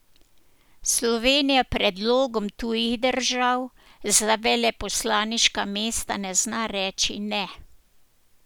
Slovenija predlogom tujih držav za veleposlaniška mesta ne zna reči ne.